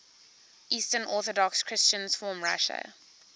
eastern orthodox christians from russia